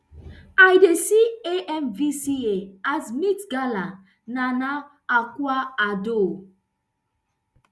i dey see amvca as meet gala nana akua addo